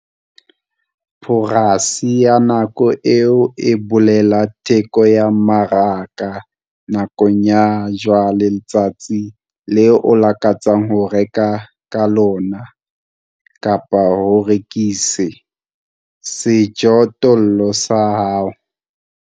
Poreisi ya nako eo e bolela theko ya mmaraka nakong ya jwale letsatsing leo o lakatsang ho reka ka lona kapa ho rekise sejothollo sa hao.